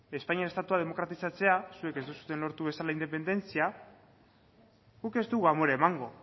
espainiar estatua demokratizatzea zuek ez duzuen lortu bezala independentzia guk ez dugu amore emango